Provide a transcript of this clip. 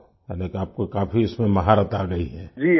ओह यानि आपको काफी इसमें महारथ आ गई है